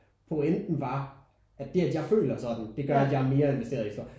Pointen var at det at jeg føler sådan det gør at jeg er mere investeret i historien